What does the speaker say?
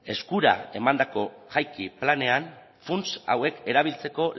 eskura emandako jaiki planean funts hauek erabiltzeko